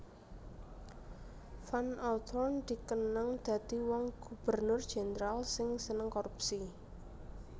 Van Outhoorn dikenang dadi wong Gubernur Jendral sing seneng korupsi